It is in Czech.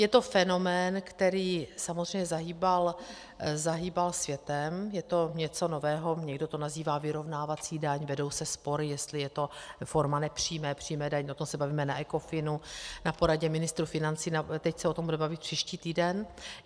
Je to fenomén, který samozřejmě zahýbal světem, je to něco nového, někdo to nazývá vyrovnávací daň, vedou se spory, jestli je to forma nepřímé, přímé daně, o tom se bavíme na Ecofinu, na poradě ministrů financí, teď se o tom budeme bavit příští týden.